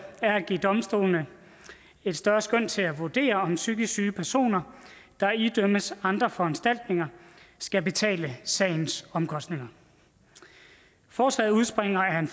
er at give domstolene et større skøn til at vurdere om psykisk syge personer der idømmes andre foranstaltninger skal betale sagens omkostninger forslaget udspringer af en